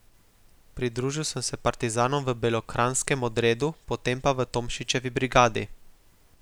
Pridružil sem se partizanom v Belokranjskem odredu, potem pa v Tomšičevi brigadi.